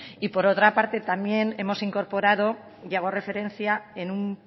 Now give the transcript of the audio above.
y por otra parte también hemos incorporado y hago referencia en un